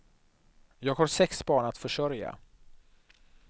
Jag har sex barn att försörja.